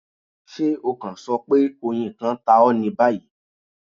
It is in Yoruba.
ṣe o kan sọ pe oyin kan ta ọ ni bayi